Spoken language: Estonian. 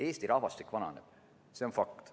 Eesti rahvastik vananeb, see on fakt.